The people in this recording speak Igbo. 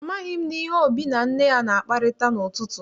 Amaghị m ihe Obi na Nne na-akparịta n'ụtụtụ.